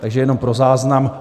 Takže jenom pro záznam.